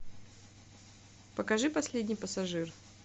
покажи последний пассажир